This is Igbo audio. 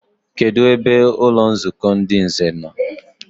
Kedụ ebe ụlọnzukọ ndị nze no?